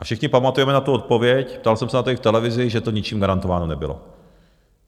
A všichni pamatujeme na tu odpověď, ptal jsem se na to i v televizi, že to ničím garantováno nebylo.